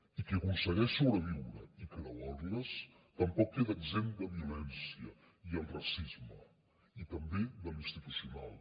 i qui aconsegueix sobreviure i creuar les tampoc queda exempt de violència i de racisme i també de l’institucional